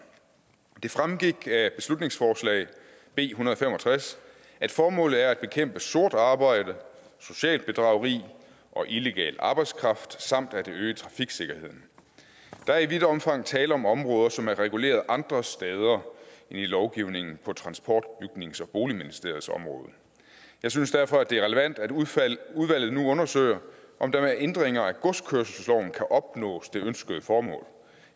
det fremgik af beslutningsforslag b en hundrede og fem og tres at formålet er at bekæmpe sort arbejde socialt bedrageri og illegal arbejdskraft samt at øge trafiksikkerheden der er i vidt omfang tale om områder som er reguleret andre steder end i lovgivningen på transport bygnings og boligministeriets område jeg synes derfor det er relevant at udvalget nu undersøger om der med ændringer af godskørselsloven kan opnås det ønskede formål